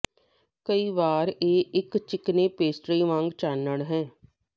ਕਈ ਵਾਰ ਇਹ ਇੱਕ ਚਿਕਨੇ ਪੇਸਟਰੀ ਵਾਂਗ ਚਾਨਣ ਹੈ